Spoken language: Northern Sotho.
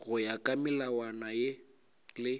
go ya ka melawana le